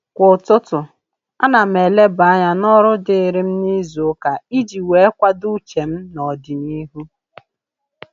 Kwa ụtụtụ, a na m eleba anya n'ọrụ dịrị m n'izuụka iji wee kwado uche m n'ọdịnihu